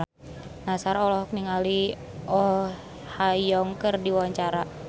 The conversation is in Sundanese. Nassar olohok ningali Oh Ha Young keur diwawancara